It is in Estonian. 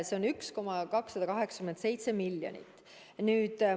See on 1,287 miljonit eurot.